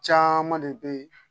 Caaman de be